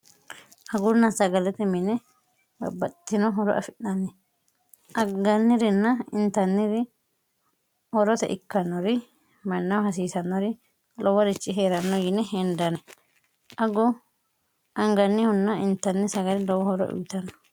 agurna sagalete mine gabbaxtino horo afi'nanni aggannirinna intanniri horote ikkannori mannahu hasiisanori loworichi hee'ranno yine hendanne aggu angannihunna intanni sagali lowo horo uyitanno